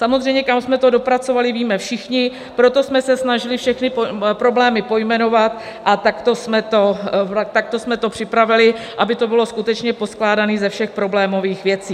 Samozřejmě kam jsme to dopracovali, víme všichni, proto jsme se snažili všechny problémy pojmenovat, a takto jsme to připravili, aby to bylo skutečně poskládané ze všech problémových věcí.